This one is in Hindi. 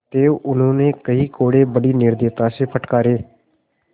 अतएव उन्होंने कई कोडे़ बड़ी निर्दयता से फटकारे